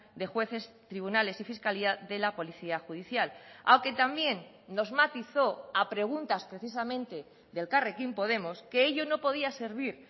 de jueces tribunales y fiscalía de la policía judicial aunque también nos matizó a preguntas precisamente de elkarrekin podemos que ello no podía servir